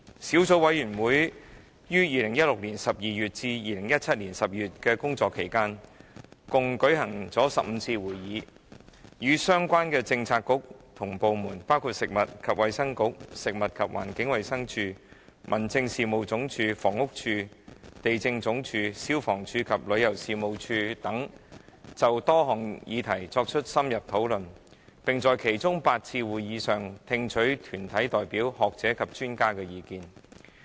小組委員會於2016年12月至2017年12月的工作期間共舉行15次會議，與相關的政策局及部門，包括食物及衞生局、食物環境衞生署、民政事務總署、房屋署、地政總署、消防處及旅遊事務署等，就多項議題作出深入討論，並在其中8次會議上，聽取團體代表、學者及專家的意見。